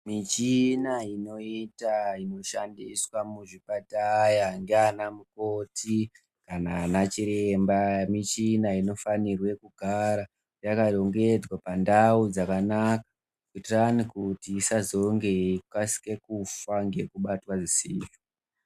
Michina inota inoshandiswa muzvipataya ngeana mukoti kana ana chiremba. Michina inofanirwe kugara yakarongedzwa pandau dzakanaka, kuitirani kuti isazonge yeikasike kufa ngekubatwa zvisizvo.